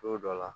Don dɔ la